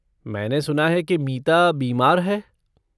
मैंने सुना है कि मीता बीमार है।